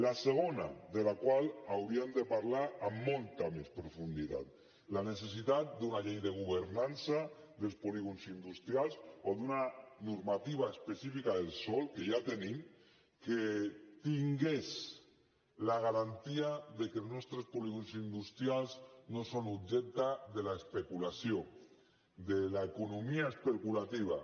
la segona de la qual hauríem de parlar amb molta més profunditat la necessitat d’una llei de governança dels polígons industrials o d’una normativa específica del sòl que ja tenim que tingués la garantia que els nostres polígons industrials no són objecte de l’especulació de l’economia especulativa